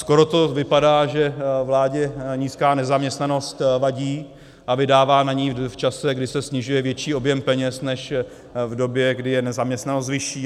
Skoro to vypadá, že vládě nízká nezaměstnanost vadí, a vydává na ni v čase, kdy se snižuje, větší objem peněz než v době, kdy je nezaměstnanost vyšší.